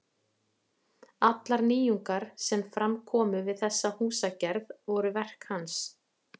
Allar nýjungar sem fram komu við þessa húsagerð voru verk hans.